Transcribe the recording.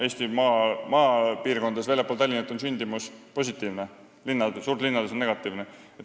Eesti maapiirkondades väljaspool Tallinna on sündimus positiivne, suurlinnades negatiivne.